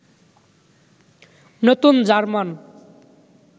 নতুন জার্মান